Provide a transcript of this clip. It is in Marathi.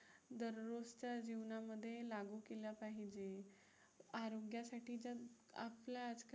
दररोजच्या जीवनामध्ये लागू केल्या पाहिजे. आरोग्यासाठी तर आपलं